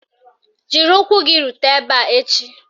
Jiri ụkwụ gị rute ebe a echi!